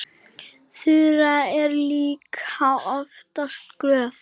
Þura er líka oftast glöð.